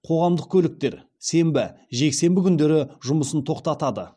қоғамдық көліктер сенбі жексенбі күндері жұмысын тоқтатады